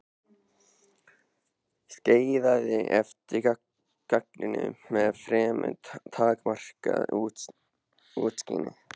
Skeiðaði eftir ganginum með fremur takmarkað útsýni.